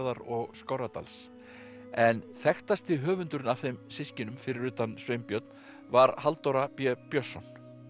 og Skorradals en þekktasti höfundurinn af þeim systkinum fyrir utan Sveinbjörn var Halldóra b Björnsson